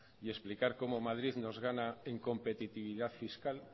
y explicar cómo madrid nos gana en competitividad fiscal